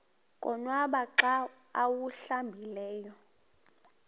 konwaba xa awuhlambileyo